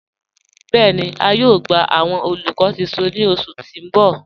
Bẹẹni, à yóò gbà awọn olùkọ̀ tuntun ni ọṣù tí n bọ̀.